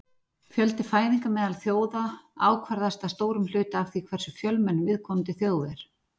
Fjöldi fæðinga meðal þjóða ákvarðast að stórum hluta af því hversu fjölmenn viðkomandi þjóð er.